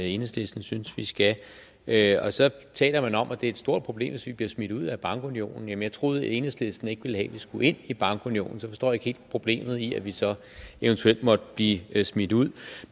enhedslisten synes vi skal være så taler man om at det er et stort problem hvis vi bliver smidt ud af bankunionen jeg troede at enhedslisten ikke ville have at vi skulle ind i bankunionen så jeg forstår ikke helt problemet i at vi så eventuelt måtte blive smidt ud